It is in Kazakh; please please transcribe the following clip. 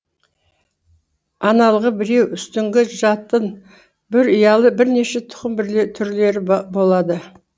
аналығы біреу үстіңгі жатын бір ұялы бірнеше тұқым түрлері болады